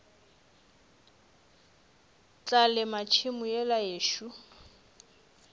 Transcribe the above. tla lema tšhemo yela yešo